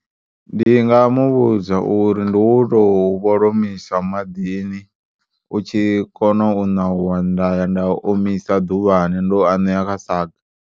Ndi nga muvhudza uri ndi u tou vholomisa maḓini u tshi kona u ṋauwa ndaya nda u omisa ḓuvhani ndo u aneya kha saga.